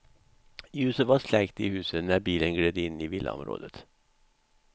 Ljuset var släckt i huset när bilen gled in i villaområdet.